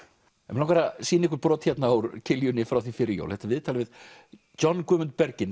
mig langar að sýna ykkur brot úr frá því fyrir jól þetta er viðtal við John Guðmund